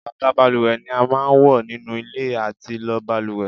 Bàtà balùwẹ̀ ni a máa ń wọ nínú ilé àti lọ balùwẹ̀